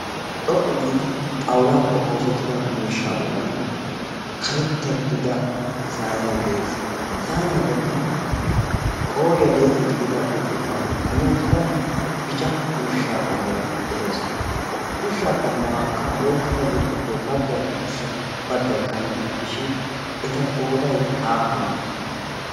xoqqu giidi xawulaappe oosettida miishshaa bollan karetta gidida saynnee de7ees. ha saynniyaa bollan qooriyaa lee77e gidida burccukkuwan kummi uttida bicca ushshaa qommoy de7ees. ha ushshaa qommuwaakka oyqqidaa burccukkuwaa baggay adussa baggay qantta gidishin eta qooday aappunee?